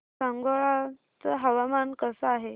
सांगोळा चं हवामान कसं आहे